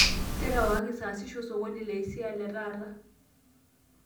terewakaki sasisho osokoni le hisai letaata